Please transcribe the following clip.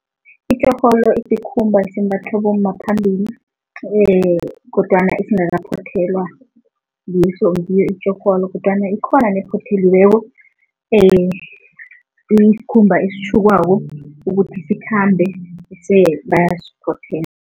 Itjorholo isikhumba esimbathwa bomma phambili kodwana ezingakaphothelwa, ngiso ngiyo itjorholo kodwana ikhona nephotheliweko isikhumba esitjhukwako ukuthi sithambe bese bayasiphothela.